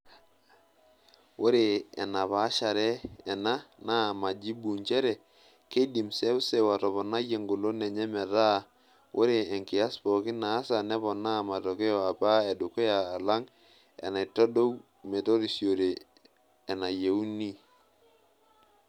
Ore enapaashare ena naa majibu nchere keidim seuseu ataoponai engolon enye metaa ore enkias pookin naasa neponaa matokeo apa edukuya alang enaitodou metorisiore enayieunoi.[long sentence].